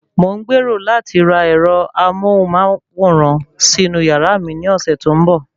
Mò ń gbèrò láti ra ẹ̀rọ amóhùnmáwòrán sínú yàrá mi ní ọ̀sẹ̀ tó ń bọ̀